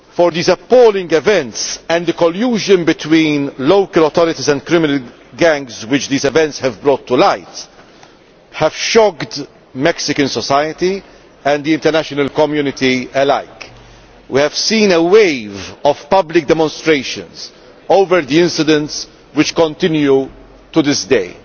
These appalling events, and the collusion between local authorities and criminal gangs which they have brought to light, have shocked Mexican society and the international community alike. We have seen a wave of public demonstrations over the incidents, which continue to this day.